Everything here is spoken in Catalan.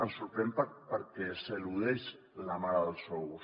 ens sorprèn perquè s’eludeix la mare dels ous